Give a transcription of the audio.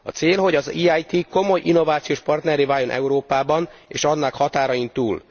A cél, hogy az EIT komoly innovációs partnerré váljon Európában és annak határain túl.